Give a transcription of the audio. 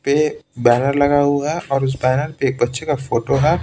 ने बैनर लगा हुआ है और उस बैनर पे एक बच्चे का फोटो है।